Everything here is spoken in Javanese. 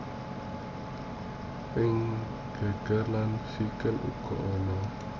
Ing geger lan sikil uga ana